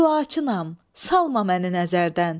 Duaçınam, salma məni nəzərdən.